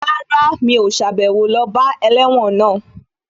Rárá, mi ò sàbẹ̀wo lọ bá ẹlẹ́wọ̀n náà